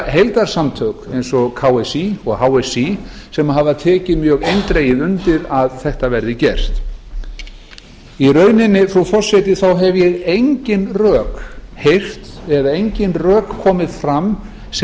heildarsamtök eins og ksí og hsí hafa einnig tekið mjög eindregið undir að þetta verið gert í rauninni hafa engin rök komið fram sem